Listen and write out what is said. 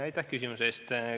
Aitäh küsimuse eest!